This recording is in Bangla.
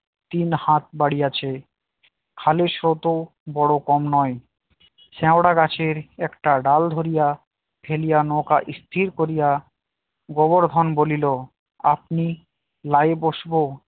তিন হাত বাড়িয়াছে খালের স্রোত ও বড় কম নাই শ্যাওড়া গাছের একটা ডাল ধরিয়া ফেলিয়া নৌকা স্থির করিয়া গোবর্ধন বলিল আপনি নাই বসবো